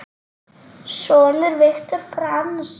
Sonur Viktor Franz.